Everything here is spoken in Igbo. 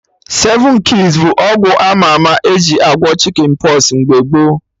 Seven keys bụ ọgwụ ama ama eji agwọ Chicken pox mgbe gboo